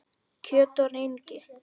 Kjöt og rengi